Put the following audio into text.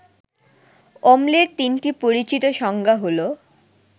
অম্লের ৩টি পরিচিত সংজ্ঞা হলো